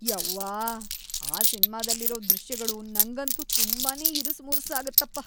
ಯವ್ವಾ! ಆ ಸಿನ್ಮಾದಲ್ಲಿರೋ ದೃಶ್ಯಗಳು ನಂಗಂತೂ ತುಂಬಾನೇ ಇರುಸುಮುರುಸಾಗತ್ತಪ.